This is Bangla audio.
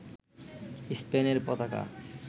স্পেনের পতাকা